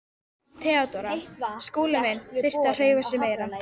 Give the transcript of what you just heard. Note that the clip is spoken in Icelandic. THEODÓRA: Skúli minn þyrfti að hreyfa sig meira.